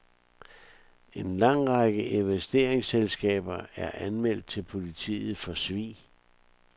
En lang række investeringsselskaber er anmeldt til politiet for svig.